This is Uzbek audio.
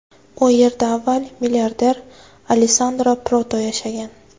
U yerda avval milliarder Alessandro Proto yashagan.